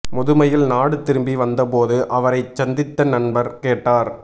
முதுமையில் நாடு திரும்பி வந்த போது அவரைச் சந்தித்த நண்பர் கேட்டார்